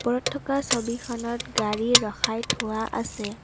থকা ছবিখনত গাড়ী ৰখাই থোৱা আছে।